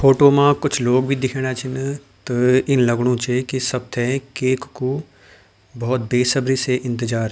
फोटो मा कुछ लोग भी दिखेणा छिन त इन लगणु च कि सब थे केक कु भोत बेसब्री से इन्तजार --